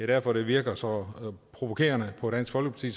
derfor det virker så provokerende på dansk folkeparti